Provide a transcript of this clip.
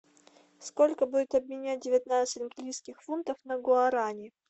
сколько будет обменять девятнадцать английских фунтов на гуарани